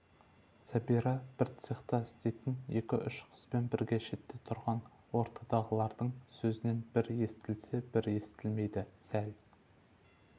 сәбира бір цехта істейтін екі-үш қызбен бірге шетте тұрған ортадағылардың сөзінің бір естілсе бір естілмейді сәл